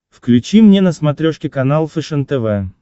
включи мне на смотрешке канал фэшен тв